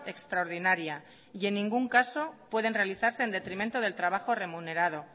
extraordinaria y en ningún caso pueden realizarse en detrimento del trabajo remunerado